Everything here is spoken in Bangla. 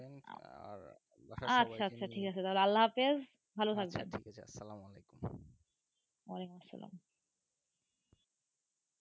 আচ্ছা আচ্ছা ঠিক আছে আল্লা হাফিজ় ভালো থাকবেন সালাম ওয়ালাইকুম